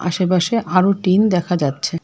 আশেপাশে আরো টিন দেখা যাচ্ছে।